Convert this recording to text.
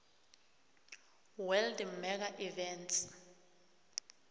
world mega events